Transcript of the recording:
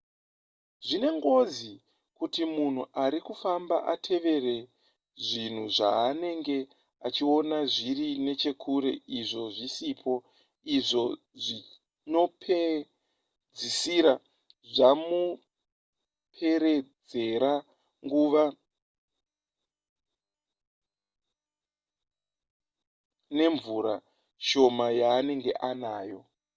zvine ngozi kuti munhu ari kufamba atevere zvinhu zvaanenge achiona zviri nechekure izvo zvisipo izvo zvinopedzisira zvamupedzera nguva nemvura shoma yaanenge anayo